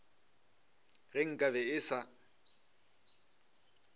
ge nka be e sa